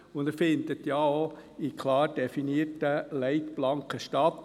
Er findet denn auch in klar definierten Leitplanken statt.